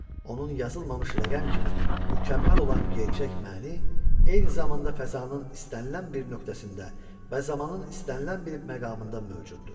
Onun yazılmamış rəqəm kimi mükəmməl olan gerçək mənii, eyni zamanda fəzanın istənilən bir nöqtəsində və zamanın istənilən bir məqamında mövcuddur.